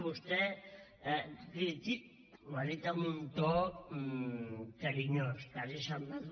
vostè ho ha dit amb un to carinyós quasi ha semblat